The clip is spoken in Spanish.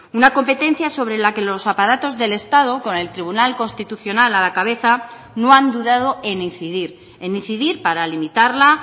una competencia sobre la que los aparatos del estado con el tribunal constitucional a la cabeza no han dudado en incidir en incidir para limitarla